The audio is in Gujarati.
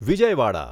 વિજયવાડા